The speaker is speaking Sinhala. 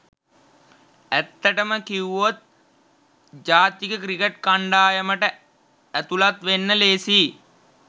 ඇත්තටම කිව්වොත් ජාතික ක්‍රිකට් කණ්ඩායමට ඇතුළත් වෙන්න ‍ලේසියි.